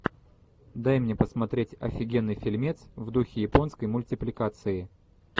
дай мне посмотреть офигенный фильмец в духе японской мультипликации